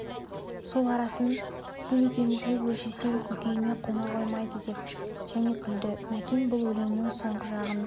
сол арасын сен екеумізге өлшесем көкейіме қона қоймайды деп және күлді мәкен бұл өлеңнің соңғы жағын